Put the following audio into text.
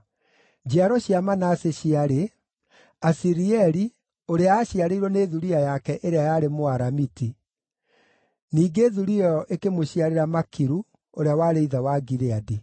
Njiaro cia Manase ciarĩ: Asirieli, ũrĩa aaciarĩirwo nĩ thuriya yake ĩrĩa yarĩ Mũaramiti. Ningĩ thuriya ĩyo ĩkĩmũciarĩra Makiru, ũrĩa warĩ ithe wa Gileadi.